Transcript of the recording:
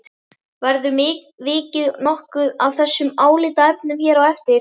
Verður vikið nokkuð að þessum álitaefnum hér á eftir.